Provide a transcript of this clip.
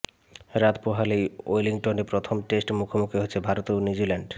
রাত পোহালেই ওয়েলিংটনে প্রথম টেস্টে মুখোমুখি হচ্ছে ভারত ও নিউজিল্যান্ড